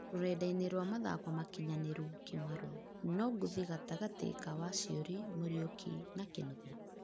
(rũrenda-ĩnĩ rwa mathako makinyanĩru) kĩmaru: no ngũthĩ gatagatĩ ka Waciùrĩ, Muriuki na kĩnũthĩa?